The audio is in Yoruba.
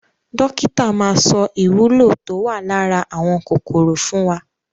Dókítà maa sọ ìwúlò tó wà lára àwọn kòkòrò fún wa.